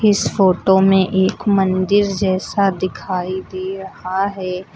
इस फोटो में एक मंदिर जैसा दिखाई दे रहा है।